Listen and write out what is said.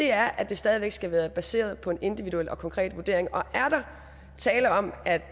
er at det stadig væk skal være baseret på en individuel og konkret vurdering og er der tale om at